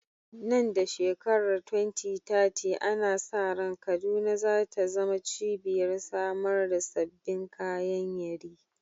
Nan da shekarar 2030, ana sa ran Kaduna za ta zama cibiyar samar da sabbin kayan yeri.